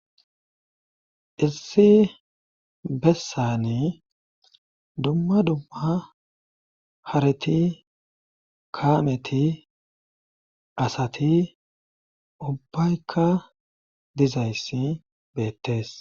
issi bessani dumma dumma hareti kaameti asati ubbaykka dizayssi beettes